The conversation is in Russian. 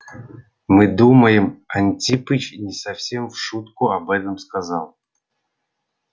мы думаем антипыч не совсем в шутку об этом сказал